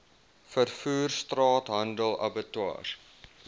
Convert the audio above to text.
vervoer straathandel abattoirs